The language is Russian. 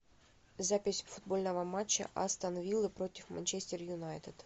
запись футбольного матча астон виллы против манчестер юнайтед